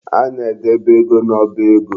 A na-edebe ego n'ọba ego.